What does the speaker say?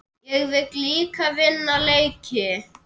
Ég vil líka vinna leiki.